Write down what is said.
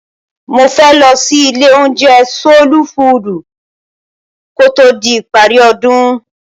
Mo fẹ́ lọ sí ilé-oúnjẹ Sóólú Fuùdù ko tó di ìparí ọdún.